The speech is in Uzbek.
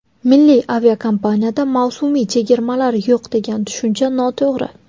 Milliy aviakompaniyada mavsumiy chegirmalar yo‘q, degan tushuncha noto‘g‘ri.